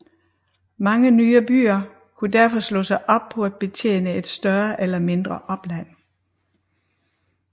Mange nye byer kunne derfor slå sig op på at betjene et større eller mindre opland